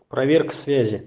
проверка связи